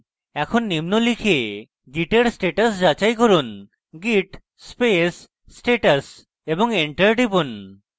এখন নিম্ন লিখে git এর status যাচাই করুন git space status এবং enter টিপুন